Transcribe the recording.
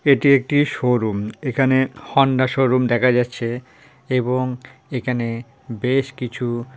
এটি একটি শোরুম এখানে হোন্ডা শোরুম দেখা যাচ্ছে এবং এখানে বেশ কিছু --